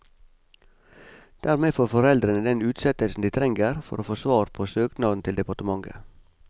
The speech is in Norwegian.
Dermed får foreldrene den utsettelsen de trenger for å få svar på søknaden til departementet.